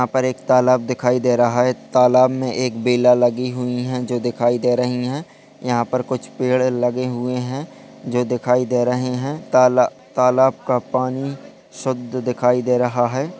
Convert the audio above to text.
यहां पर एक तालाब दिखाई दे रहा है तालाब में एक बेला लगी हुई है जो दिखाई दे रही है यहां पर कुछ पेड़ लगे हुए हैं जो दिखाई दे रहे हैं ताला तालाब का पानी शुद्ध दिखाई दे रहा है।